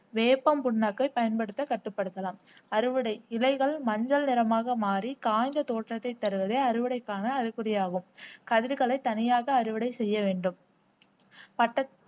வேப்பம் புண்ணாக்கை பயன்படுத்த கட்டுப்படுத்தலாம் அறுவடை இலைகள் மஞ்சள் நிறமாக மாறி காய்ந்த தோற்றத்தை தருவது அறுவடைக்கான அறிகுறி ஆகும் கதிர்களை தனியாக அறுவடை செய்ய வேண்டும் பட்டத்து